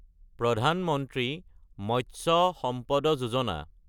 প্ৰধান মন্ত্ৰী মৎস্য চাম্পাদা যোজনা